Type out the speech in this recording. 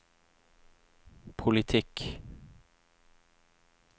politikk